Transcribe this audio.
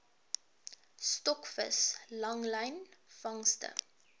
stokvis langlyn vangste